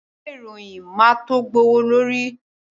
Ìwé ìròyìn máa to gbówó lóri.